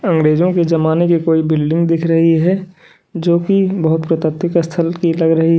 अंग्रेजों के जमाने की कोई बिल्डिंग दिख रही है जो की बहोत प्राकृतिक स्थल की लग रही--